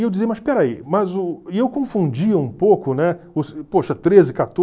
E eu dizia, mas peraí, mas o... e eu confundia um pouco, né, poxa, treze,